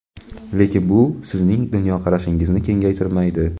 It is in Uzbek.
lekin bu sizning dunyoqarashingizni kengaytirmaydi.